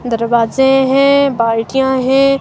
दरवाजे हैं बाल्टियां हैं.